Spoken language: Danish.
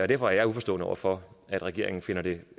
derfor er jeg uforstående over for at regeringen finder det